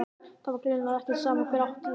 Það var greinilega ekki sama hver átti í hlut.